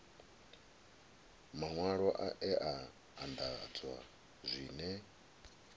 maṅwalwa e a anḓadzwa zwine